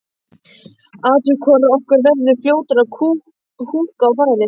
Athugum hvor okkar verður fljótari að húkka á færið.